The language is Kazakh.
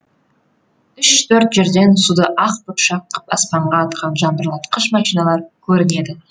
үш төрт жерден суды ақ бұршақ қып аспанға атқан жаңбырлатқыш машиналар көрінеді